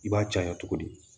I b'a caya cogo di